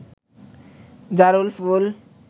জারুল ফুল